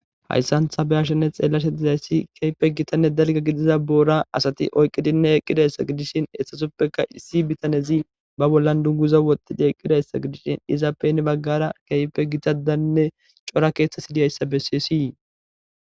Hayssan ta be'ashenne xeelashe dizayssi keehippe giiththanne dalgga gidiza boora asatti oykiddinne eqqidayssa gidishin etapeka issi bitane ba bolan dungguza woththi eqqidayssa gidishin izappe he baggara keehippe gittazanne cora keththa dizayssa besses.